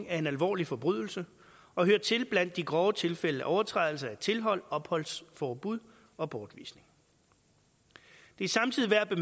er en alvorlig forbrydelse og hører til blandt de grove tilfælde af overtrædelse af tilhold opholdsforbud og bortvisning det er samtidig værd at